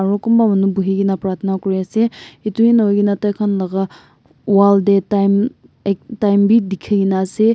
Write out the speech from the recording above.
aru kunba manu buhihena prathana kuriase ituhi nahoigena taikhan la wall dey time ek time bi dikhikena ase.